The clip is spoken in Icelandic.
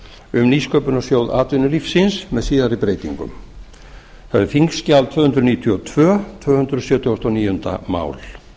um nýsköpunarsjóð atvinnulífsins með síðari breytingum þetta er þingskjal tvö hundruð níutíu og tvö tvö hundruð sjötíu og níu mál